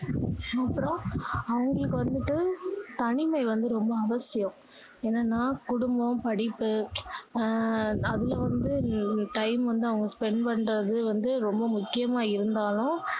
அப்பறோம் அவங்களுக்கு வந்துட்டு தனிமை வந்து ரொம்ப அவசியம் ஏன்னா குடும்பம் படிப்பு அது வந்து அஹ் time வந்து அவங்க spend பண்றது வந்து ரொம்ப முக்கியமா இருந்தாலும்